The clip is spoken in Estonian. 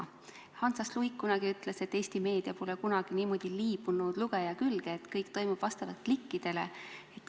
Hans H. Luik kunagi ütles, et Eesti meedia pole kunagi niimoodi liibunud lugeja külge, et kõik toimub vastavalt klikkidele.